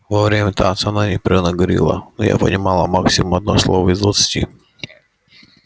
во время танца он непрерывно говорил но я понимала максимум одно слово из двадцати